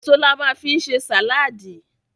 Èso la ma fi ń ṣe sàláàdì.